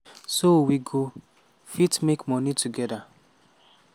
so we go fit make moni togeda".